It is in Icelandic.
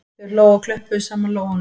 Þau hlógu og klöppuðu saman lófunum